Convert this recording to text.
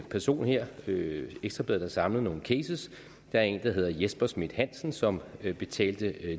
person her her i ekstra bladet samlet nogle cases der er en der hedder jesper schmidt hansen som betalte